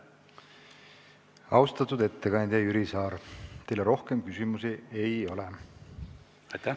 Austatud ettekandja Jüri Saar, teile rohkem küsimusi ei ole.